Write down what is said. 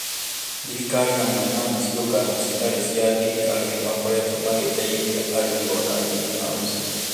Thirikari hamwe na ciũngano citarĩ cia thirikari nĩ makoretwo magĩteithia arĩmi guaka ngirinihaũci